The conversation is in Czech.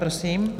Prosím.